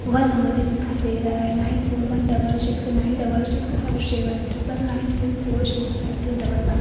one नंबर भी दिखाई देरा है nine four one double six nine double six five seven triple nine two four six five two double one --